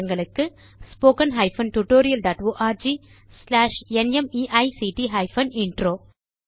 spoken hyphen tutorial dot org slash நிமைக்ட் hyphen intro